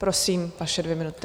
Prosím, vaše dvě minuty.